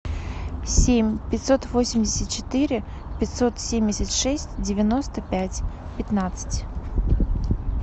семь пятьсот восемьдесят четыре пятьсот семьдесят шесть девяносто пять пятнадцать